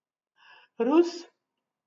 Rus?